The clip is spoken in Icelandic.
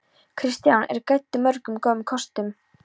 Kristján er gæddur mörgum góðum kostum.